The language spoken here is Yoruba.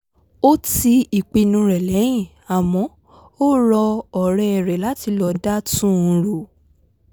ó ti ìpinnu rẹ̀ lẹ́yìn àmọ́ ó rọ ọ̀rẹ́ rẹ̀ láti lọ dá tú́n un rò